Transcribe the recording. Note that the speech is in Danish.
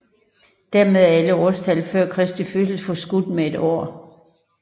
Dermed er alle årstal før Kristi fødsel forskudt med et år